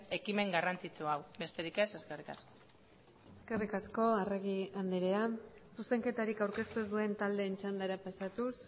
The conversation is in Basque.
ekimen garrantzitsu hau besterik ez eskerrik asko eskerrik asko arregi andrea zuzenketarik aurkeztu ez duen taldeen txandara pasatuz